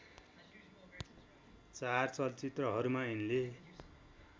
चार चलचित्रहरूमा यिनले